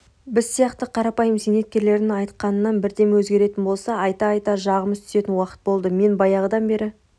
біз сияқты қарапайым зейнеткерлердің айтқанынан бірдеме өзгеретін болса айта-айта жағымыз түсетін уақыт болды мен баяғыдан бері